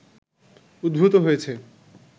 উদ্ভূত হয়েছে